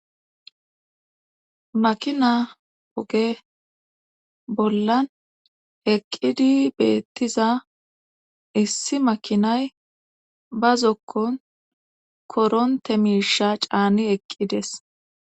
makina oge bollan heqqidi beettiza issi makinay ba zokkon koronte miisha caani eqqides